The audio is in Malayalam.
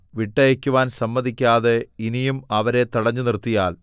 വിട്ടയയ്ക്കുവാൻ സമ്മതിക്കാതെ ഇനിയും അവരെ തടഞ്ഞു നിർത്തിയാൽ